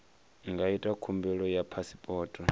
nga ita khumbelo ya phasipoto